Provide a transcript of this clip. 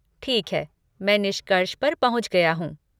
ठीक है, मैं निष्कर्ष पर पहुँच गया हूँ।